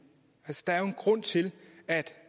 at